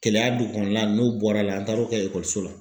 Kɛlɛya dugu kɔnɔna la, n'o bɔra la, an taara o kɛ ekɔliso la.